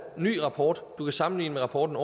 en ny rapport som du kan sammenligne med rapporten